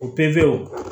O perew